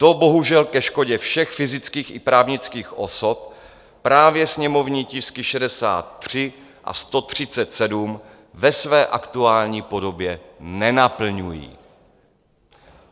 To bohužel ke škodě všech fyzických i právnických osob právě sněmovní tisky 63 a 137 ve své aktuální podobě nenaplňují.